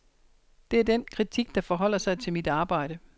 Det er den kritik, der forholder sig til mit arbejde.